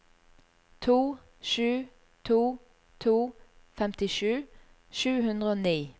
to sju to to femtisju sju hundre og ni